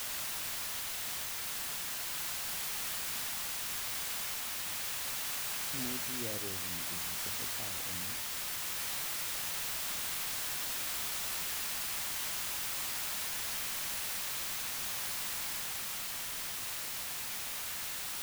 Imujii iyaroruu kit nee tesetaii eng yuu